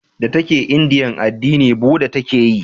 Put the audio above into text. Da ta ke indiya addini buda ta ke yi